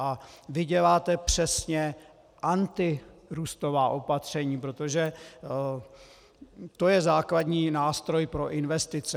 A vy děláte přesně antirůstová opatření, protože to je základní nástroj pro investice.